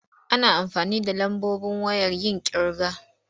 Ana amfani da lambobi wayen yin ƙirga.